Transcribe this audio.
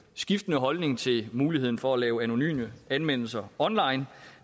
skiftende holdning til muligheden for at lave anonyme anmeldelser online